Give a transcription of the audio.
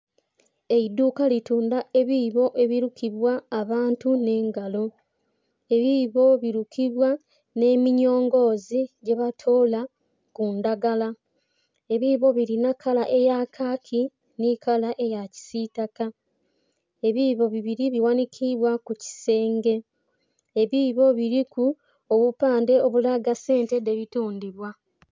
Eiduuka litundha ebiibo ebirukibwa abantu nh'engalo, ebiibo birukibwa nh'eminyongozi gyebatola kundhagala. Ebiibo biri nhi kala eyakaki nhi kala eyakisitaka, ebiibo bibiri baghanhikibwa kukisenge, ebiibo biliku obupandhe obulaga esente dhebutundha.